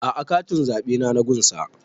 A'a katin zaɓe na gun sa